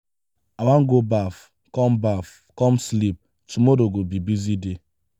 i wan go baff come baff come sleep tomorrow go be busy day.